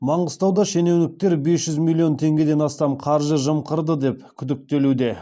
маңғыстауда шенеуніктер бес жүз миллион теңгеден астам қаржы жымқырды деп күдіктелуде